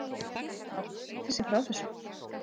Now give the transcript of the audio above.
Gat hún slitið sig frá þessu?